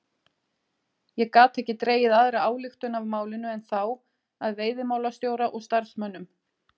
Ég gat ekki dregið aðra ályktun af málinu en þá að veiðimálastjóra og starfsmönnum